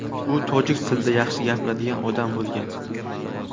U tojik tilida yaxshi gapiradigan odam bo‘lgan.